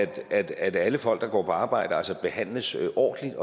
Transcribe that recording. at alle folk der går på arbejde behandles ordentligt